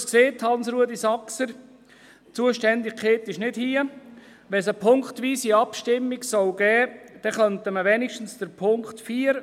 Hansruedi Saxer hat es gesagt: «Die Zuständigkeit ist nicht hier.